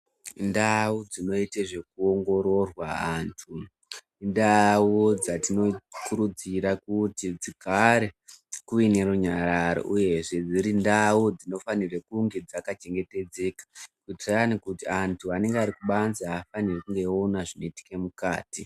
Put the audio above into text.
Ndau dzinoite zvekuongororwa anthu ndau dzatinokurudzira kuti dzigare kuine runyararo uyezve dziri ndau dzinofanirwe kunge dzakachengetedzeka kutirani kuti anthu anenge ari kubanze ahafaniri kuona zvinoitika mukati.